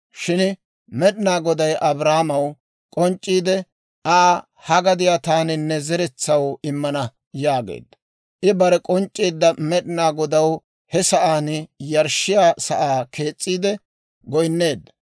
Shin Med'inaa Goday Abraamaw k'onc'c'iide Aa, «Ha gadiyaa taani ne zeretsaw immana» yaageedda. I barew k'onc'c'eedda Med'inaa Godaw he sa'aan yarshshiyaa sa'aa kees's'iide goynneedda.